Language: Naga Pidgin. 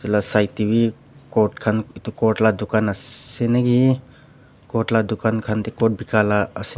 itu la side teh wii coat khan coat la dukan ase naki coat la dukan khan itu coat bikai la as.